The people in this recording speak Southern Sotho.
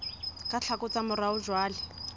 ka tlhako tsa morao jwale